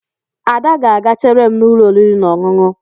Ada ga-aga chere m n'ụlọ oriri na ọṅụṅụ